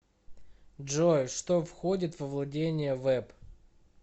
джой что входит во владения вэб